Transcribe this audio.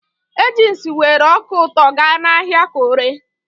Agnes weere ọka ụtọ ga n'ahịa ka oree.